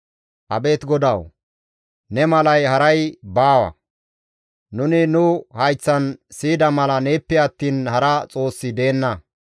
«Abeet GODAWU! Ne malay haray baawa; nuni nu hayththan siyida mala neeppe attiin hara Xoossi deenna.